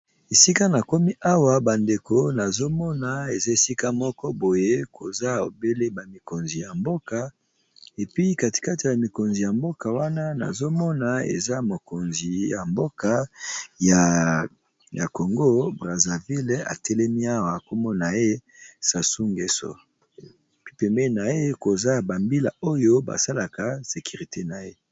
Esika na komi awa ba ndeko nazo mona eza esika moko boye koza obele ba mikonzi ya mboka, epi kati kati ya mikonzi ya mboka wana nazo mona eza mokonzi ya mboka ya Congo Brazzaville atelemi awa kombo na ye Sassou Ngeso pembeni na ye koza ba mbila oyo ba salaka sécurité na ye.